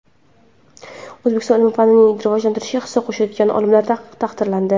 O‘zbekistonda ilm-fanni rivojlantirishga hissa qo‘shayotgan olimlar taqdirlandi.